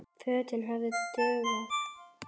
Fötin hefðu dugað.